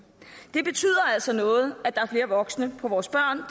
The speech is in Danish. det betyder altså noget at der er flere voksne for vores børn